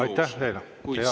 Aitäh teile!